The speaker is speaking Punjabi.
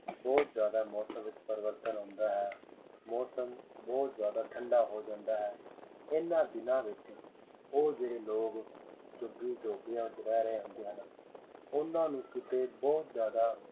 ਬਹੁਤ ਜ਼ਿਆਦਾ ਮੌਸਮ ਵਿੱਚ ਪਰਿਵਰਤਨ ਆਉਂਦਾ ਹੈ ਮੌਸਮ ਬਹੁਤ ਜ਼ਿਆਦਾ ਠੰਢਾ ਹੋ ਜਾਂਦਾ ਹੈ ਇਹਨਾਂ ਦਿਨਾਂ ਵਿੱਚ ਉਹ ਜਿਹੜੇ ਲੋਕ ਝੁੱਗੀ ਝੋਪੜੀਆਂ ਵਿੱਚ ਰਹਿ ਰਹੇ ਹੁੰਦੇ ਹਨ ਉਹਨਾਂ ਨੂੰ ਕਿਤੇ ਬਹੁਤ ਜ਼ਿਆਦਾ